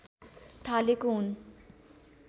थालेको हुन्